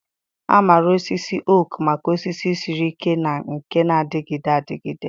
A maara osisi oak maka osisi siri ike na nke na-adịgide adịgide.